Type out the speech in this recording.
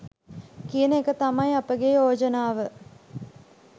කියන එක තමයි අපගේ යෝජනාව.